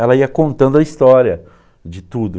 Ela ia contando a história de tudo.